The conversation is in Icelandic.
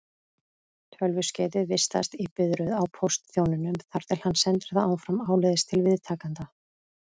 Tölvuskeytið vistast í biðröð á póstþjóninum þar til hann sendir það áfram áleiðis til viðtakanda.